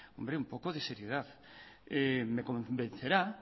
hombre un poco de seriedad me convencerá